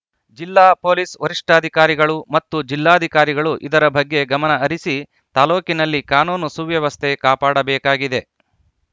ಜಿಲ್ಲಾ ಪೊಲೀಸ್‌ ವರಿಷ್ಠಾಕಾರಿಗಳು ಮತ್ತು ಜಿಲ್ಲಾಧಿಕಾರಿಗಳು ಇದರ ಬಗ್ಗೆ ಗಮನ ಹರಿಸಿ ತಾಲೂಕಿನಲ್ಲಿ ಕಾನೂನು ಸುವ್ಯವಸ್ಥೆ ಕಾಪಾಡಬೇಕಾಗಿದೆ